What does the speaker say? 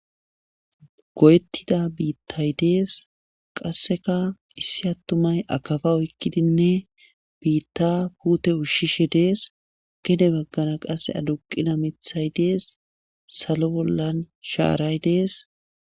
goyeettida biittay dees qasseka issi attumay akaba oykkidinne biitta puute ushshishe dees gede baggana qasse aduqina mithay dees salo bollan shaaray dees